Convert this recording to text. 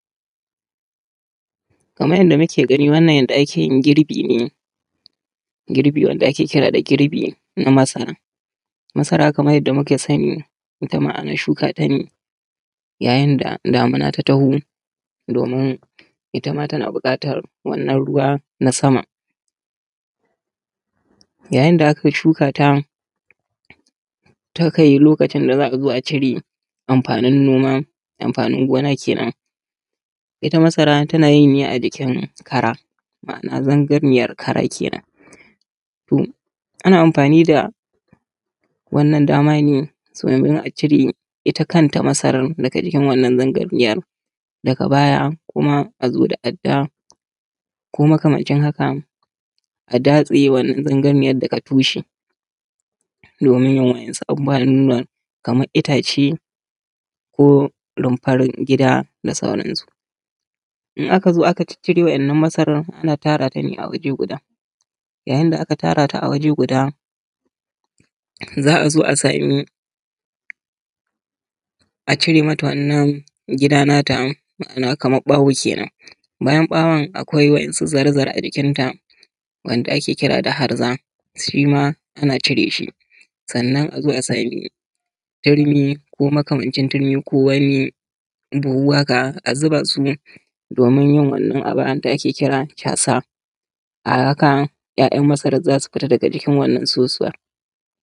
Kamar yanda muke gani wannan yanda ake yin girbi ne. Girbi wanda ake kira da girbi na masara. Masara kamar yanda muka sani ita ma ana shuka ta ne yayin da damuna ta taho, domin ita ma tana buƙatar wannan ruwa na sama. Yayin da aka shuka ta, ta kai lokacin da za a zo a cire amfanin noma, amfanin gona kenan, ita masara tana yi a jikin kara. Ma'ana zangariyan kara kenan. To ana amfani da wannan dama ne domin a cire ita kanta masaran daga jikin wannan zangariyan, daga baya kuma a zo da adda ko makamancin haka a datse wannan zangariyan daga tushe domin yin wasu abubuwan kamar yin itace, ko rumfan gida da sauran su. In aka zo aka ciccire wa'innan masaran, ana tara ta ne a waje guda, yayin da aka tara ta a waje guda, za a zo a samu a cire mata wannan gida na ta. Ma'ana kamar ɓawo kenan. Bayan ɓawon akwai wasu zare zare daga jikanta, wanda ake kira da harza shi ma ana cire shi, sannan a zo a samu turmi ko makamancin turmi, ko wani buhu haka a zuba su domin yin wannan abu da ake kira casa a haka ‘ya’yan masaran za su fita daga wannan sosuwan.